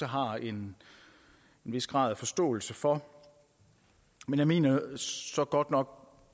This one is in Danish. har en vis grad af forståelse for men jeg mener så godt nok